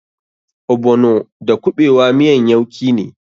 Ogbono da kuɓewa miyan yauki ne.